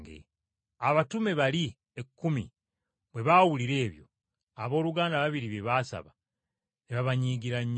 Abayigirizwa bali ekkumi bwe baawulira ebyo abooluganda ababiri bye baasaba, ne babanyiigira nnyo.